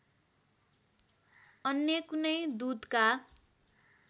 अन्य कुनै दूतका